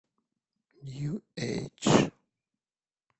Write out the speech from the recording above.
нью эйдж